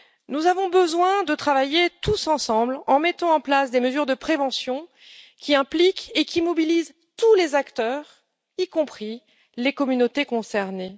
Nous avons besoin de travailler tous ensemble, en mettant en place des mesures de prévention qui impliquent et qui mobilisent tous les acteurs, y compris les communautés concernées.